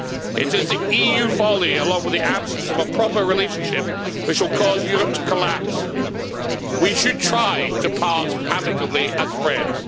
It is the EU folly, along with the absence of a proper relationship which will cause Europe to collapse. We should try to part amicably as friends.